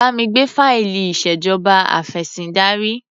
Bá mi gbé fáìlì ìṣèjọba afẹ̀sìndarí.